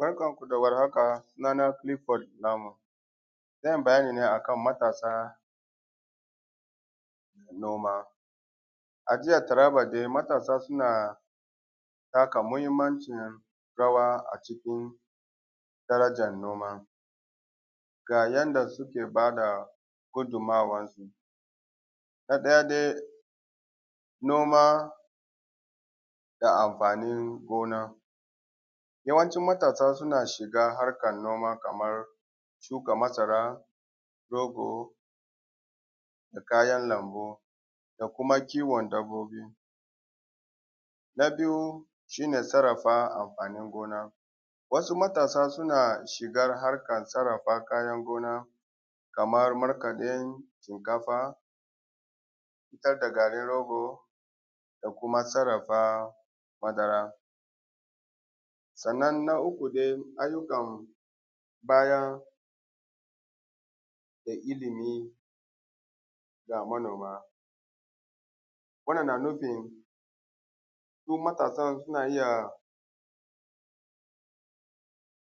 Barkanku da warhaka sunana Kilifod Lamu zan yi bayani ne akan matasa noma. A jihar Taraba dai matasa suna taka muhinmancin rawa a cikin darajan noma ga yanda suke ba da gudumawansu na ɗaya dai noma da amfain gona yawancin matasa suna shiga harkan noma kaman shuka masara, rogo da kayan lambu da kuma kiwon dabbobi. Na biyu shi ne sarrafa amfanin gona, wasu matasa suna shiga harkan sarrafa kayan noma kaman markaɗin shinkafa, fitar da garin rogo da kuma sarrafa madara. Sannan na uku dai ayyukan bayar da ilimi ga manoma wannan na nufin su matasan suna iya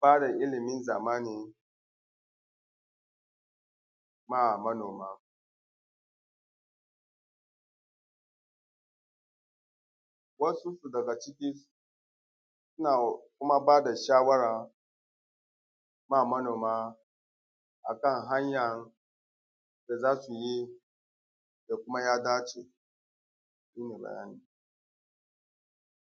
ba da ilimin zamani ma manoma, wasu daga ciki suna kuma ba da shawara su ba manoma akan hanyan da za su yi da kuma ya dace shi ne bayani.